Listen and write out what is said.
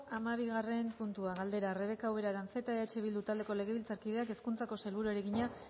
hamabigarren puntua galdera rebeka ubera aranzeta eh bildu taldeko legebiltzarkideak hezkuntzako sailburuari egina